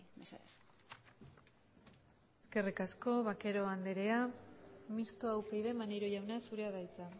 mesedez eskerrik asko vaquero andrea mistoa upyd maneiro jauna zurea da hitza